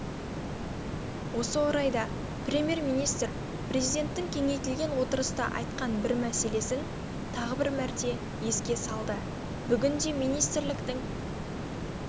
осы орайда премьер-министр президенттің кеңейтілген отырыста айтқан бір мәселесін тағы бір мәрте еске салды бүгінде министрліктің